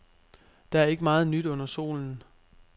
Der er ikke meget nyt under solen.